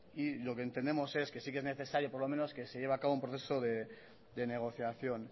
y lo que entendemos es que sí que es necesario por lo menos que se lleva a cabo un proceso de negociación